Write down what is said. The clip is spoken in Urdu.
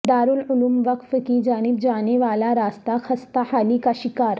دارالعلوم وقف کی جانب جانے والا راستہ خستہ حالی کا شکار